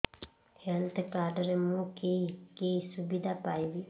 health card ରେ ମୁଁ କି କି ସୁବିଧା ପାଇବି